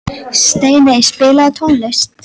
Steiney, spilaðu tónlist.